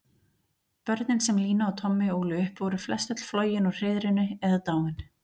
Börnin sem Lína og Tommi ólu upp voru flestöll flogin úr hreiðrinu eða dáin.